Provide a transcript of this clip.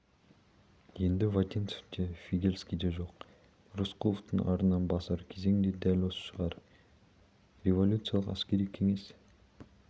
енді вотинцев те фигельский де жоқ рысқұловтың арынын басар кезең де дәл осы шығар пен революциялық әскери кеңес